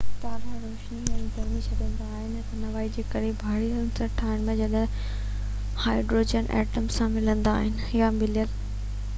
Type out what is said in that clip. تارا روشني ۽ گرمي ڇڏيندا آهن توانائي جي ڪري ڀاري عنصر ٺاهڻ لاءِ جڏهن هائڊروجن ائٽمن سان ملندا آهن يا مليل